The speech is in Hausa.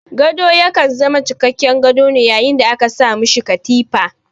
Gado ya kan zama cikakken gado ne yayin da aka sa ma shi katifa.